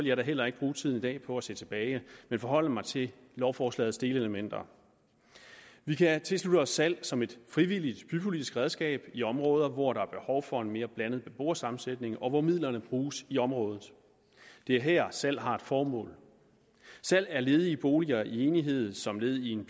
jeg da heller ikke bruge tiden i dag på at se tilbage men forholde mig til lovforslagets delelementer vi kan tilslutte os salg som et frivilligt bypolitisk redskab i områder hvor der er behov for en mere blandet beboersammensætning og hvor midlerne bruges i området det er her at et salg har et formål salg af ledige boliger i enighed som led i en